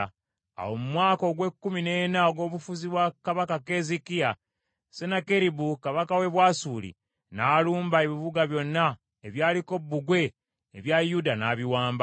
Awo mu mwaka ogw’ekkumi n’ena ogw’obufuzi bwa kabaka Keezeekiya, Sennakeribu kabaka w’e Bwasuli n’alumba ebibuga byonna ebyaliko bbugwe ebya Yuda, n’abiwamba.